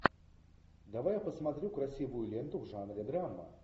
давай я посмотрю красивую ленту в жанре драма